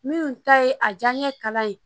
Minnu ta ye a diyaɲɛ kala ye